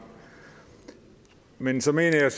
men så mener jeg